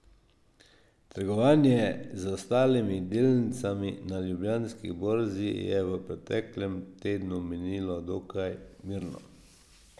Trgovanje z ostalimi delnicami na Ljubljanski borzi je v preteklem tednu minilo dokaj mirno.